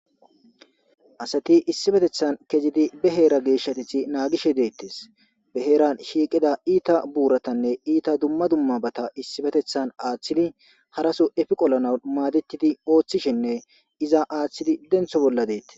Asathi issippetheththan kiyizi be heera geeshshatheththi naagishe deeththees; be heeran shiiqiza iitha buurathanne iitha dumma dummabatha issippetheththan aaththidi haraso efi qolanawu maadeththidi ooththishenne iza aaththizi denththo bolla deeththes.